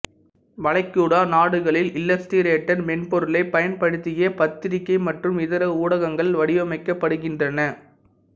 வளைகுடா நாடுகளில் இல்லஸ்டிரேட்டர் மென்பொருளைப் பயன்படுத்தியே பத்திரிகை மற்றும் இதர ஊடகங்கள் வடிவமைக்கப்படுகின்றன